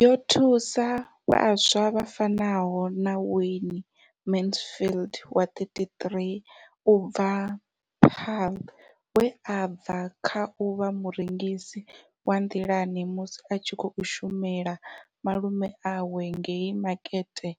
Yo thusa vhaswa vha fanaho na Wayne Mansfield wa, 33, u bva Paarl, we a bva kha u vha murengisi wa nḓilani musi a tshi khou shumela malume awe ngei Makete